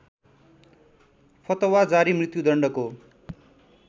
फतवा जारी मृत्युदण्डको